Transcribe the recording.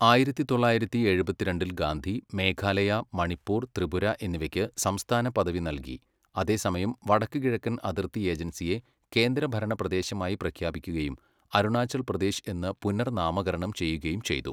ആയിരത്തി തൊള്ളായിരത്തി എഴുപത്തിരണ്ടിൽ ഗാന്ധി മേഘാലയ, മണിപ്പൂർ, ത്രിപുര എന്നിവയ്ക്ക് സംസ്ഥാന പദവി നൽകി അതേസമയം വടക്കുകിഴക്കൻ അതിർത്തി ഏജൻസിയെ കേന്ദ്രഭരണ പ്രദേശമായി പ്രഖ്യാപിക്കുകയും അരുണാചൽ പ്രദേശ് എന്ന് പുനർനാമകരണം ചെയ്യുകയും ചെയ്തു.